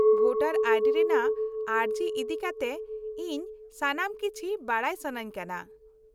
- Voter I D ᱨᱮᱱᱟᱜ ᱟᱹᱨᱡᱤ ᱤᱫᱤᱠᱟᱛᱮ ᱤᱧ ᱥᱟᱱᱟᱢ ᱠᱤᱪᱷᱤ ᱵᱟᱰᱟᱭ ᱥᱟᱹᱱᱟᱹᱧ ᱠᱟᱱᱟ ᱾